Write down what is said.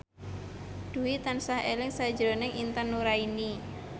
Dwi tansah eling sakjroning Intan Nuraini